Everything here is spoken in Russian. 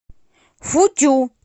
футю